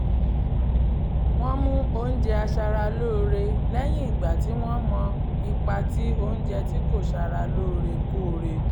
wọ́n mú oúnjẹ aṣaralóore lẹ́yìn ìgbà tí wọ́n mọ ipa tí oúnjẹ tí kò sára lóore kóore